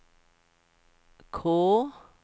K